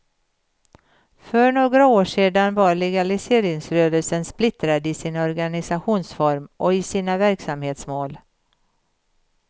För några år sedan var legaliseringsrörelsen splittrad i sin organisationsform och i sina verksamhetsmål.